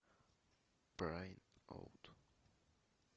прайм аут